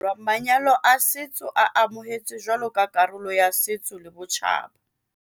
Naheng ya Aforika Borwa manyalo a setso a amohetswe jwalo ka karolo ya setso le botjhaba.